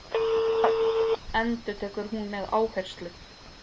Öll, endurtekur hún með áherslu.